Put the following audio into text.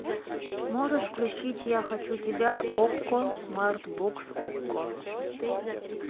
можешь включить я хочу тебя окко смарт бокс окко